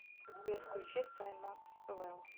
сбер включи саймаксвелл